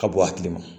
Ka bɔ hakili ma